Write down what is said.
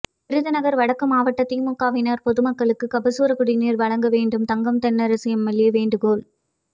விருதுநகர் வடக்கு மாவட்ட திமுகவினர் பொதுமக்களுக்கு கபசுர குடிநீர் வழங்க வேண்டும் தங்கம் தென்னரசு எம்எல்ஏ வேண்டுகோள்